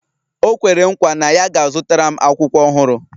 O kwere nkwa na ya ga-azụtara m akwụkwọ ọhụrụ